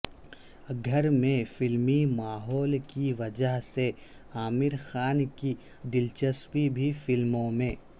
گھر میں فلمی ماحول کی وجہ سے عامر خان کی دلچسپی بھی فلموں میں